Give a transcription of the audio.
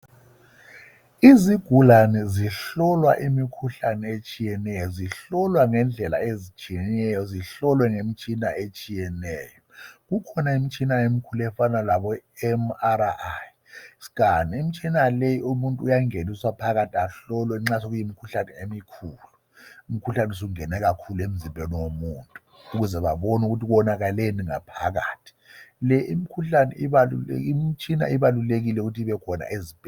Izigulane zihlolwa imikhuhlane etshiyeneyo. Zihlolwa ngendlela ezitshiyeneyo zihlolwe ngemitshina etshiyeneyo. Kukhona imitshina emikhulu efana labo MRI scan. Imitshina le umuntu uyangeniswa phakathi ahlolwe nxa sekuyimikhuhlane emikhulu. Umkhuhlane usungene kakhulu emzimbeni womuntu ukuze babona ukuthi kuwonakeleni ngaphakathi. Le imitshina ibalulekile ukuthi ibekhona ezibhedlela